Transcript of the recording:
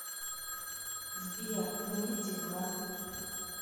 сбер ну и дела